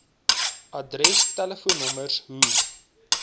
adres telefoonnommers hoe